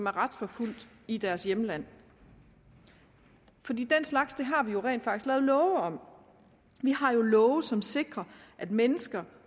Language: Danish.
retsforfulgt i deres hjemland den slags har vi rent faktisk lavet love om vi har jo love som sikrer at mennesker